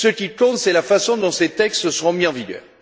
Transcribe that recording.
Ce qui compte, c'est la façon dont ces textes seront mis en vigueur.